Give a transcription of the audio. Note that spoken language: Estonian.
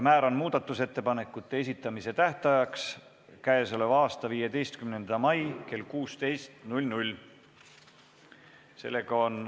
Määran muudatusettepanekute esitamise tähtajaks k.a 15. mai kell 16.